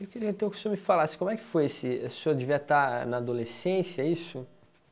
Eu queria então que o senhor me falasse como é que foi esse, o senhor devia estar na adolescência, é isso?